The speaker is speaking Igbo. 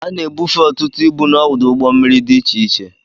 A na-ebufe ọtụtụ ibu n'ọdụ ụgbọ mmiri dị iche iche